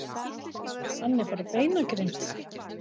Hann er bara beinagrind.